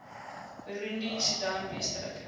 burundi soedan westelike